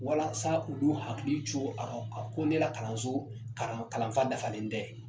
Walasa u n'u hakili jo a rɔ , ko ne la kalanso kalanfa dafalen tɛ.